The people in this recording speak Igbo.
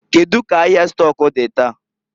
Kedu ka ahịa stọk dị taa?